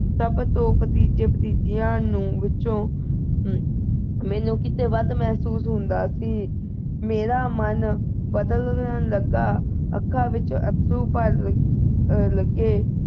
ਸਭ ਤੋਂ ਪ੍ਰਤਿ ਜੀਅ ਪ੍ਰਤਿ ਜੀਆਂ ਵਿੱਚੋਂ ਅਹ ਮੈਨੂੰ ਕਿਤੇ ਵੱਧ ਮਹਿਸੂਸ ਹੁੰਦਾ ਸੀ ਮੇਰਾ ਮਨ ਬਦਲਣ ਲੱਗਾ ਅੱਖਾਂ ਵਿੱਚ ਅੱਥਰੂ ਭਰਨ ਲੱਗੇ